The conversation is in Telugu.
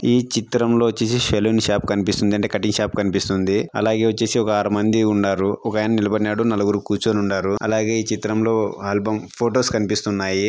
ఈ చిత్రం లో వచ్చేసి సెలూన్ షాప్ కనిపిస్తుంది అండి కటింగ్ షాప్ కనిపిస్తుంది అలాగే వచ్చేసి ఒక ఆరు మంది ఉన్నారు ఒకాయన నిలబడి ఉన్నాడు నలుగురు కూర్చొని ఉన్నారు అలాగే ఈ చిత్రం లో ఆల్బమ్ --